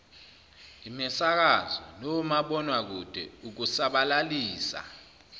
imisakazo nomabonwakude ukusabalalisa